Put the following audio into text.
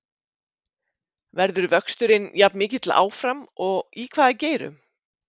Verður vöxturinn jafn mikill áfram og í hvaða geirum?